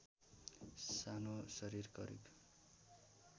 सानो शरीर करिब